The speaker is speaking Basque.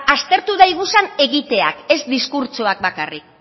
aztertu daiguzan egiteak ez diskurtsoak bakarrik